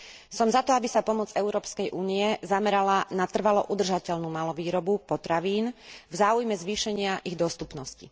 Som za to, aby sa pomoc Európskej únie zamerala na trvalo udržateľnú malovýrobu potravín v záujme zvýšenia ich dostupnosti.